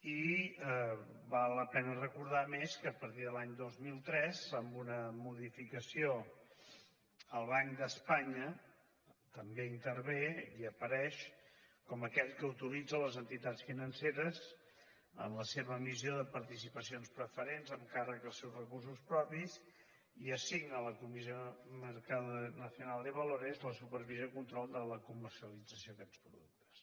i val la pena recordar a més que a partir de l’any dos mil tres amb una modificació el banc d’espanya també hi intervé i apareix com aquell que autoritza les entitats financeres en la seva emissió de participacions preferents amb càrrec als seus recursos propis i assigna a la comisión nacional del mercado de valores la supervisió i control de la comercialització d’aquests productes